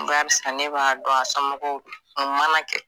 Barisa ne b'a dɔn a somɔgɔw don o mana kɛ.